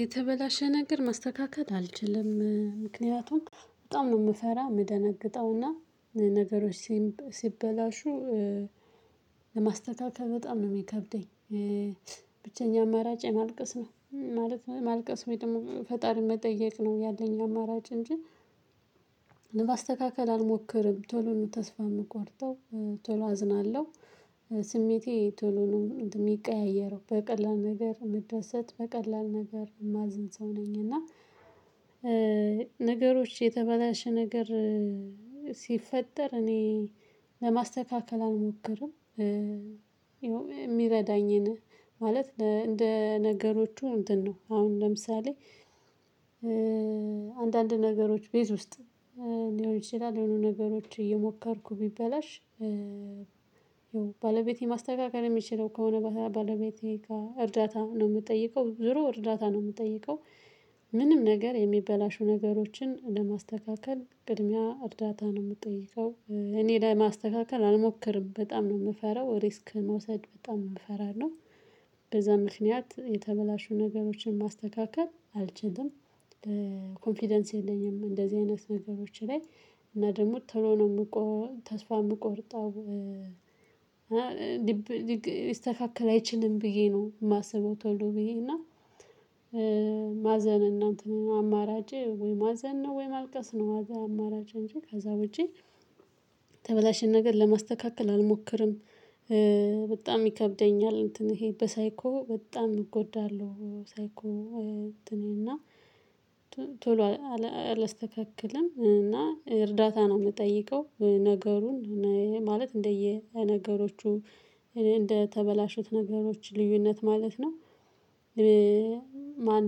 የተበላሸ ነገር ማስተካከል አልችልም። ምክንያቱም በጣም ነው የምፈራ የምደነግጠውና ነገሮች ሲበላሹ ለማስተካከል በጣም ነው የሚከብደኝ። ብቸኛ አማራጬ ማልቀስ ነው። ማለት ነው ማልቀስ ወይ ደግሞ ፈጣሪን መጠየቅ ነው ያለኝ አማራጭ እንጂ ለማስተካከል አልሞክርም። ቶሎ ነው ተስፋ የምቆርጠው፥ ቶሎ አዝናለሁ ስሜቴ ቶሎ ነው የሚቀያየረው በቀላል ነገር ምደረሰት፥ በቀላል ነገር የማዝን ሰው ነኝ እና ነገሮች የተበላሸ ነገር ሲፈጠር እኔ ለማስተካከል አልሞክርም። የሚረዳኝን ማለት እንደ ነገሮቹ እንትን ነው። አሁን ለምሳሌ አንዳንድ ነገሮች ቤት ውስጥ ሊሆን ይችላል የሆኑ ነገሮች እየሞከርኩ ቢበላሽ ባለቤቴ ማስተካከል የሚችለው ከሆነ ባለቤቴ ጋር እርዳታ ነው የምትጠይቀው። ዙሮ እርዳታ ነው የምትጠይቀው ምንም ነገር የሚበላሹ ነገሮችን ለማስተካከል ቅድሚያ እርዳታ ነው የምጠይቀው። እኔ ለማስተካከል አልሞክርም በጣም ነው የምፈራው ሪስክ መውሰድ በጣም ፈራለው። በዛ ምክንያት የተበላሹ ነገሮችን ማስተካከል አልችልም። ኮንፊደንስ የለኝም እንደዚህ አይነት ነገሮች ላይ እና ደግሞ ቶሎ ነው የምቆ ተስፋ የምቆርጠው እና እስተካከል አይችልም ብዬ ነው የማስበው ቶሎ ብዬ እና ማዘን እና አማራጭ ወይ ማዘን ነው፤ ወይ ማልቀስ ነው። ማዘን አማራጭ እንጂ ከዛ ውጪ ተበላሽን ነገር ለማስተካከል አልሞክርም። በጣም ይከብደኛል እንትን ይሄ በሳይኮ በጣም እጎዳለሁ ሳይኮ እኔና ቶሎ አላስተካክልም እና እርዳታ ነው የምጠይቀው። ነገሩን ማለት እንደየ ነገሮቹ እንደተበላሹት ነገሮች ልዩነት ማለት ነው። ማን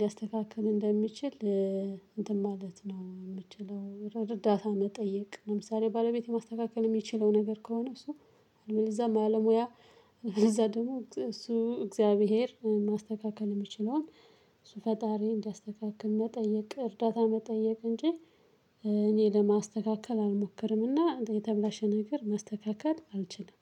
ሊያስተካክል እንደሚችል እንትን ማለት ነው የምችለው እርዳታ መጠየቅ ለምሳሌ ባለቤት ማስተካከል የሚችለው ነገር ከሆነ እሱ እንደዛ ማለሙያ እዛ ደግሞ እሱ እግዚአብሔር ማስተካከል የሚችለውን እሱ ፈጣሪ እንዲያስተካክል መጠየቅ፤ እርዳታ መጠየቅ እንጂ እኔ ለማስተካከል አልሞክርምና የተብላሽ ነገር ማስተካከል አልችልም።